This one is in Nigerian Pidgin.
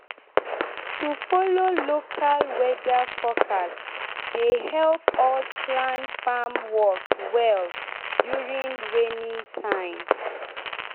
to follow local local weather forecast dey help us plan farm work well during rainy time.